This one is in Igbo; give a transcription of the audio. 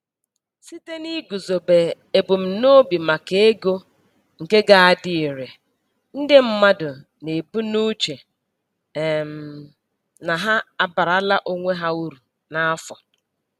Site n'iguzobe ebumnobi maka ego nke ga-adị ire, ndị mmadụ na-ebu n'uche um na ha abaarala onwe ha uru n'afọ.